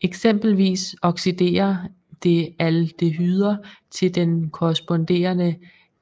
Eksempelvis oxiderer det aldehyder til den korresponderende